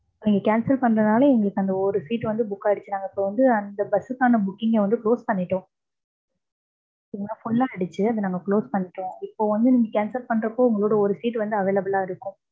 நீங்க cancel பண்றதால, எங்களுக்கு அந்த ஒரு seat வந்து book ஆயிடுச்சு. நாங்க இப்ப வந்து அந்த bus சுக்கான booking அ வந்து close பண்ணிட்டோம். சரிங்கலா full ஆயிடுச்சு. அத நாங்க close பண்ணிட்டோம். இப்ப வந்து நீங்க cancel பண்றப்போ, உங்களோட ஒரு seat available ஆ இருக்கும்.